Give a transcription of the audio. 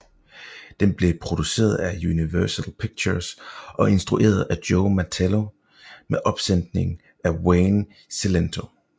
Den blev produceret af Universal Pictures og instrueret af Joe Mantello med opsætning af Wayne Cilento